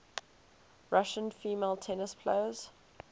russian female tennis players